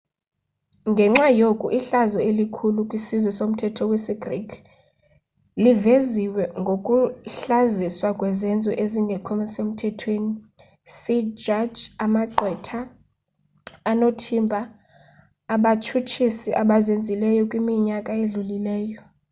ngenxa yoku ihlazo elikhulu kwisizwe somthetho wesi greek liveziwe ngokuhlaziswa kwezenzo ezingekho semthethweni see jaji amagqwetha onothimba abatshutshisi abazenzileyo kwiminyaka edlulileyo